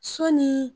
Sɔni